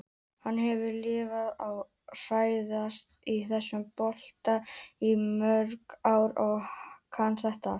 Hann hefur lifað og hrærst í þessum bolta í mörg ár og kann þetta allt.